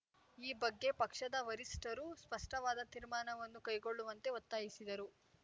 ಈ ಬಗ್ಗೆ ಪಕ್ಷದ ವರಿಷ್ಠರು ಸ್ಪಷ್ಟವಾದ ತೀರ್ಮಾನವನ್ನು ಕೈಗೊಳ್ಳುವಂತೆ ಒತ್ತಾಯಿಸಿದರು